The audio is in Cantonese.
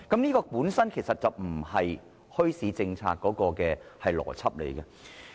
這根本並不符合墟市政策的邏輯。